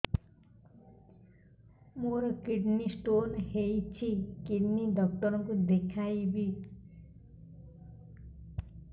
ମୋର kidney stone ହେଇଛି kidney doctor କୁ ଦେଖାଇବି